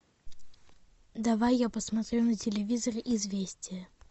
давай я посмотрю на телевизоре известия